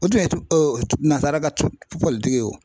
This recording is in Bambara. O tun ye nazara ka ye o